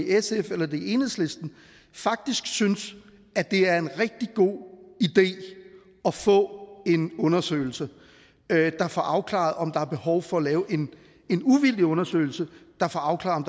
sf eller enhedslisten faktisk synes at det er en rigtig god idé at få en undersøgelse der får afklaret om der er behov for at lave en uvildig undersøgelse der får afklaret